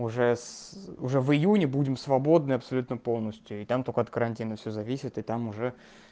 уже с уже в июне будем свободны абсолютно полностью и там только от карантина всё зависит и там уже